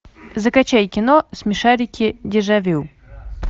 закачай кино смешарики дежавю